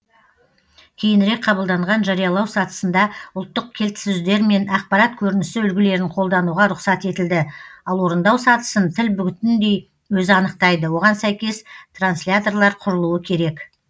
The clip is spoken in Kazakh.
кейінірек қабылданған жариялау сатысында ұлттық кілтсөздер мен ақпарат көрінісі үлгілерін қолдануға рұқсат етілді ал орындау сатысын тіл бүтіндей өзі анықтайды оған сәйкес трансляторлар құрылуы керек